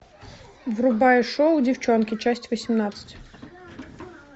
врубай шоу девчонки часть восемнадцать